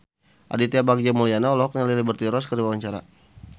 Aditya Bagja Mulyana olohok ningali Liberty Ross keur diwawancara